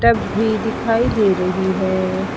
ये भी दिखाई दे रही है।